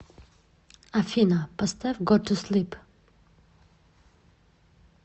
афина поставь го ту слип